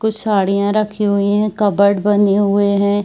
कुछ साड़ियाँ रखी हुई है कप्बर्ड बने हुए है।